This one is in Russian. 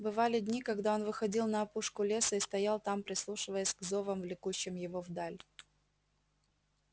бывали дни когда он выходил на опушку леса и стоял там прислушиваясь к зовам влекущим его вдаль